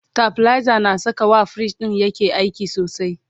stabilizer na Saka wa fridge ɗin yake aiki sosai